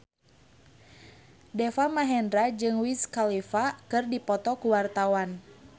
Deva Mahendra jeung Wiz Khalifa keur dipoto ku wartawan